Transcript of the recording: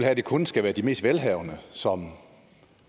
at det kun skal være de mest velhavende som